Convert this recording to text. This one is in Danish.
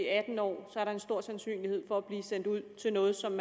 atten år er en stor sandsynlighed for at det bliver sendt ud til noget som